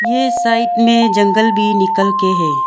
ये साइड में जंगल भी निकल के है।